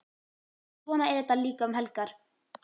Svona er þetta líka um helgar.